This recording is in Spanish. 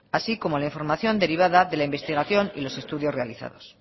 así como la información derivada de la investigación y los estudios realizados